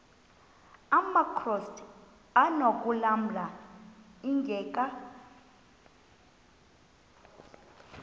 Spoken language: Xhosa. amakrot anokulamla ingeka